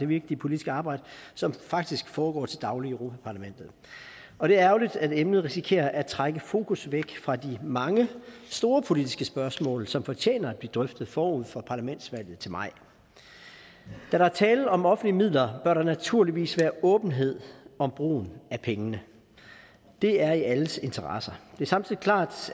vigtige politiske arbejde som faktisk foregår til daglig i europa parlamentet og det er ærgerligt at emnet risikerer at trække fokus væk fra de mange store politiske spørgsmål som fortjener at blive drøftet forud for parlamentsvalget til maj da der er tale om offentlige midler bør der naturligvis være åbenhed om brugen af pengene det er i alles interesse det er samtidig klart